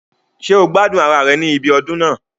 Ṣé o gbádùn ara rẹ̀ ní ibi ọdún náà